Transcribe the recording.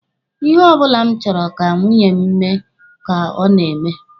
Ihe ọbụla m chọrọ ka nwunye m mee ka o na-eme.